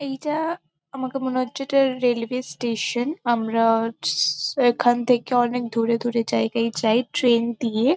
এইটা আমারকো মনে হচ্ছে এটা রেলওয়ে স্টেশন আমরা স এখান থেকে অনেক দূরে দূরে জায়গায় যাই ট্রেন দিয়ে ।